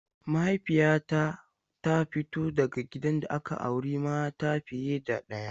Mahaifiyata ta fito daga gidan da aka auri mata fiye da ɗaya.